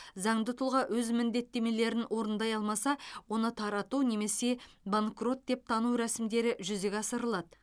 заңды тұлға өз міндеттемелерін орындай алмаса оны тарату немесе банкрот деп тану рәсімдері жүзеге асырылады